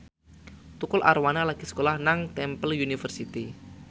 Tukul Arwana lagi sekolah nang Temple University